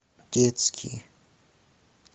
детские